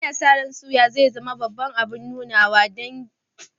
Ana sa ran soyawa zai zama babban abun nunawa a taron danginmu a karshen mako mai zuwa.